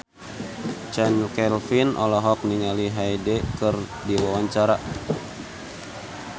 Chand Kelvin olohok ningali Hyde keur diwawancara